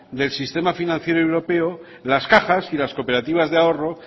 del sistema financiero europeo las cajas y las cooperativa de ahorro